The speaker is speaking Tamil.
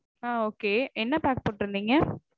ஆஹ் okay என்ன pack போட்டிருந்தீங்க?